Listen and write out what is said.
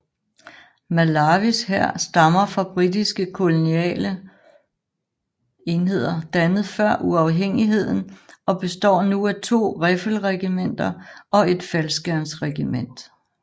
Malawis hær stammer fra britiske koloniale enheder dannet før uafhængigheden og består nu af to riffelregimenter og et faldskærmsregiment